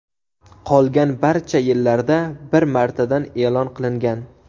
Qolgan barcha yillarda bir martadan e’lon qilingan.